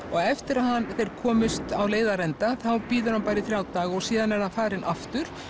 og eftir að þeir komust á leiðarenda þá bíður hann bara í þrjá daga og síðan er hann farinn aftur